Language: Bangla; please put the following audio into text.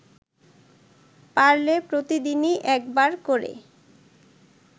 পারলে প্রতিদিনই একবার করে